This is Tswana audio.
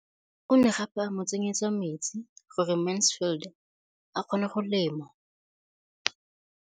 O ne gape a mo tsenyetsa metsi gore Mansfield a kgone go lema.